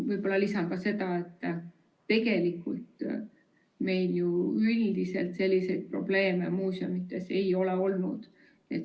Võib-olla lisan ka seda, et tegelikult meil ju üldiselt selliseid probleeme muuseumides ei ole olnud.